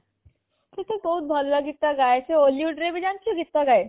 ସେ ତ ବହୁତ ଭଲ ଗୀତ ଗାଏ ସେ hollywood ରେ ଭି ଜାଣିଛ ଗୀତ ଗାଏ